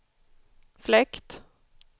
fläkt